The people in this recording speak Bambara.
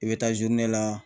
I bɛ taa la